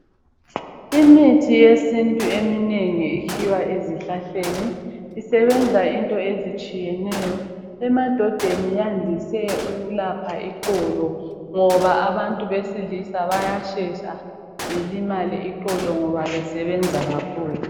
Imithi yesintu eminengi ikhiwa ezihlahleni, isebenza izinto ezitshiyeneyo. Emadodeni yandise ukulapha iqolo ngoba abantu besilisa bayashesha balimali iqolo ngoba besebenza kakhulu.